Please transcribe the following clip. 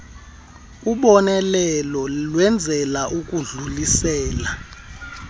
ubonelelo lwenzelwa ukudlulisela